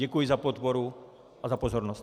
Děkuji za podporu a za pozornost.